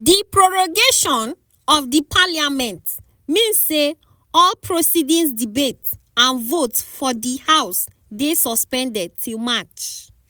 di prorogation of di parliament mean say all proceedings debates and votes for di house dey suspended till march.